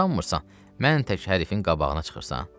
Qurtarmırsan, mən tək hərfin qabağına çıxırsan."